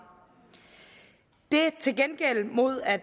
det er til gengæld mod at